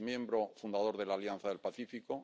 es miembro fundador de la Alianza del Pacífico